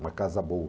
Uma casa boa.